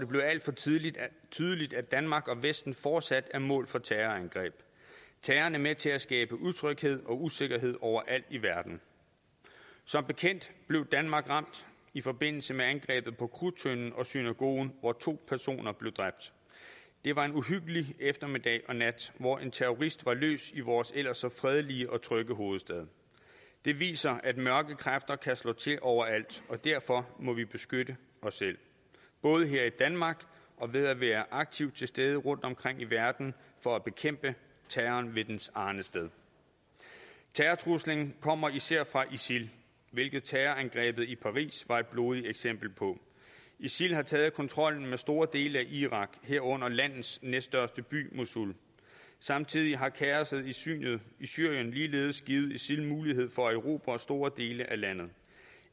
blev alt for tydeligt tydeligt at danmark og vesten fortsat er mål for terrorangreb terroren er med til at skabe utryghed og usikkerhed overalt i verden som bekendt blev danmark ramt i forbindelse med angrebet på krudttønden og synagogen hvor to personer blev dræbt det var en uhyggelig eftermiddag og nat hvor en terrorist var løs i vores ellers så fredelige og trygge hovedstad det viser at mørke kræfter kan slå til overalt og derfor må vi beskytte os selv både her i danmark og ved at være aktivt til stede rundomkring i verden for at bekæmpe terroren ved dens arnested terrortruslen kommer især fra isil hvilket terrorangrebet i paris var et blodigt eksempel på isil har taget kontrollen med store dele af irak herunder landets næststørste by mosul samtidig har kaosset i syrien syrien ligeledes givet isil mulighed for at erobre store dele af landet